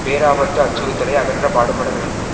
பேராபத்து அச்சுறத்தலை அகற்ற பாடுபட வேண்டும்